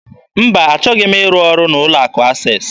Mba, achọghị m ịrụ ọrụ n'ụlọ akụ Access.